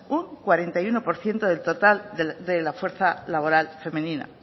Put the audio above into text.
un cuarenta y uno por ciento del total de la fuerza laboral femenina